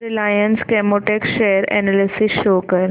Reliance Chemotex share analysis show कर